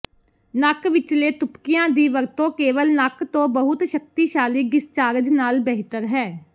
ਨੱਕ ਵਿਚਲੇ ਤੁਪਕਿਆਂ ਦੀ ਵਰਤੋਂ ਕੇਵਲ ਨੱਕ ਤੋਂ ਬਹੁਤ ਸ਼ਕਤੀਸ਼ਾਲੀ ਡਿਸਚਾਰਜ ਨਾਲ ਬਿਹਤਰ ਹੈ